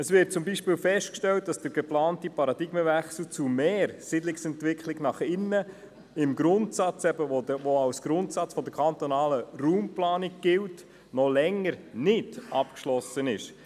Es wird zum Beispiel festgestellt, dass der geplante Paradigmenwechsel zu mehr Siedlungsentwicklung nach innen, die als Grundsatz der kantonalen Raumplanung gilt, noch länger nicht abgeschlossen ist.